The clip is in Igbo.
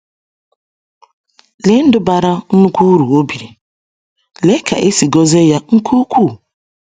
Lee ndụ bara nnukwu uru o biri, lee ka e si gọzie ya nke ukwuu!